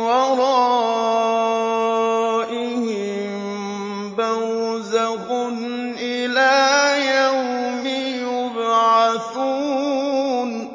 وَرَائِهِم بَرْزَخٌ إِلَىٰ يَوْمِ يُبْعَثُونَ